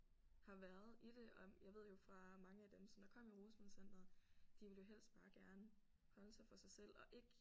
Har været i det og jeg ved jo fra mange af dem som der kom i rusmiddelcenteret de ville jo helst bare gerne holde sig for sig selv og ikke